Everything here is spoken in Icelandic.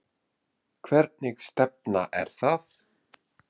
Hvernig stefna er það?